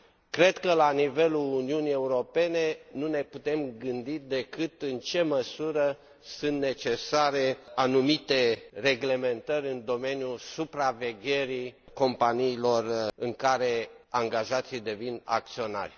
Cred că la nivelul Uniunii Europene nu ne putem gândi decât în ce măsură sunt necesare anumite reglementări în domeniul supravegherii companiilor în care angajații devin acționari.